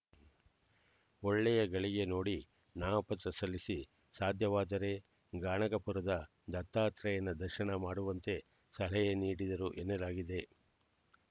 ಒಳ್ಳೆಯ ಗಳಿಗೆ ನೋಡಿ ನಾಮಪತ್ರ ಸಲ್ಲಿಸಿ ಸಾಧ್ಯವಾದರೆ ಗಾಣಗಾಪುರದ ದತ್ತಾತ್ರೆಯನ ದರ್ಶನ ಮಾಡುವಂತೆ ಸಲಹೆ ನೀಡಿದರು ಎನ್ನಲಾಗಿದೆ